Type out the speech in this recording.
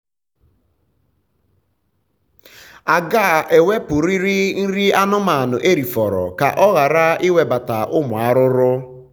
aga ewepurịrị nri anụmanụ erifọrọ ka ọ ghara ịnwebata ụmụ arụrụ